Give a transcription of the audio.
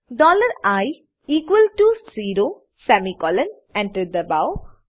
dollar I equals to zero semicolon enter દબાવો